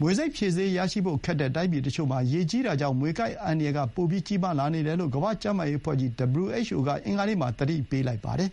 မြွေဆိပ်ဖြေဆေးရရှိဖို့ ခက်တဲ့တိုင်းပြည်တချို့မှာ ရေကြီးတာကြောင့် မြေကိုက်တဲ့အန္တရာယ်က ပိုကြီးလာနေတယ်လို့ ကမ္ဘာ့ကျန်းမာရေးအဖွဲ့ကြီး WHO က အင်္ဂါနေ့မှာ သတိပေးလိုက်ပါတယ်